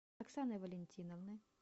оксаны валентиновны